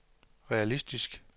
realistisk